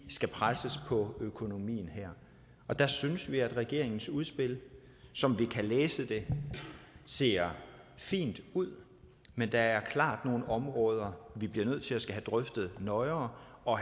skal presses på økonomien her og der synes vi at regeringens udspil som vi kan læse det ser fint ud men der er klart nogle områder vi bliver nødt til at drøfte nøjere og